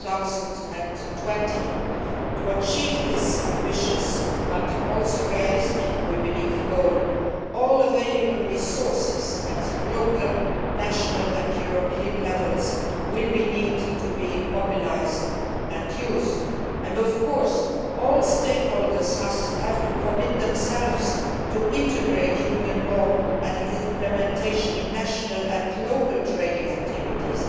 2020. To achieve this ambitious but also, we believe, realistic goal all available resources at local, national and European levels will need to be mobilised and used. And of course, all stakeholders have to commit themselves to integrating Union law and its implementation into national and local training activities.